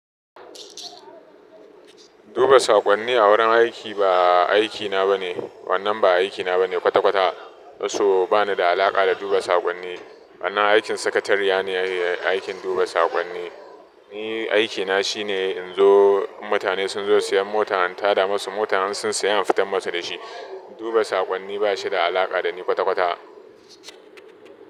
Duba saƙonni a wurin aiki ba aikina bane, wannan ba aikina bane kwata-kwata. So banida alaƙa da duba saƙonni. Wannan aikin sakatariya ne aikin duba saƙonni. Ni aikina shine inzo in mutane sunzo siyan mota in tada musu mota, in sun saya in fitar musu da shi. Duba saƙonni bashida alaƙa dani kwata-kwata.